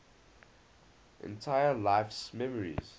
entire life's memories